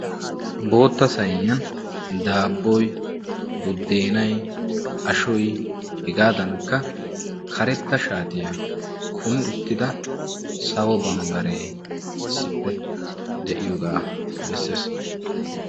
bootta saaniyaa bollani daaboyi, budenayne ashoy hegadanikki shaatiyaa kumidi utida sawo bambare de"iyaga bessesi.